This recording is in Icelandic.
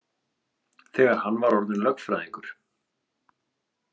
Þegar hann var orðinn lögfræðingur.